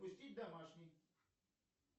пустить домашний